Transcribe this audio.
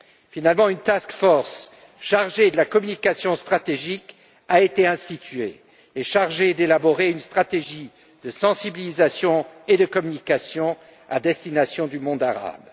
Finalement, une task force chargée de la communication stratégique a été créée afin d'élaborer une stratégie de sensibilisation et de communication à l'intention du monde arabe.